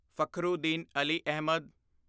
Fakhruddin Ali Ahmad